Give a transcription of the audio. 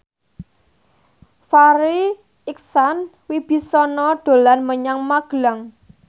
Farri Icksan Wibisana dolan menyang Magelang